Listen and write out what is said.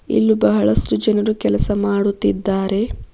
ಇಲ್ಲೂ ಬಹಳಷ್ಟು ಜನರು ಕೆಲಸ ಮಾಡುತ್ತಿದ್ದಾರೆ.